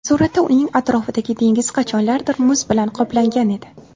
Suratda uning atrofidagi dengiz qachonlardir muz bilan qoplangan edi.